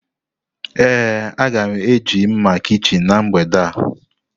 Ee, a ga m eji mma kichin na mgbede a.